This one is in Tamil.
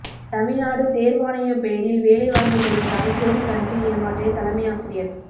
தமிழ்நாடு தேர்வாணையம் பெயரில் வேலை வாங்கி தருவதாக கோடி கணக்கில் ஏமாற்றிய தலைமை ஆசிரியர்